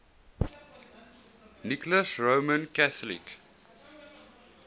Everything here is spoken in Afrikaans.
nicholas roman catholic